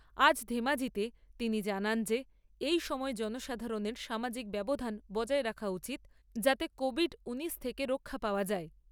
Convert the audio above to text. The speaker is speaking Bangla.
আজ ধেমাজীতে তিনি জানান যে এই সময়ে জনসাধারণের সামাজিক ব্যবধান বজায় রাখা উচিৎ যাতে কোভিড নাইন্টিন থেকে রক্ষা পাওয়া যায়।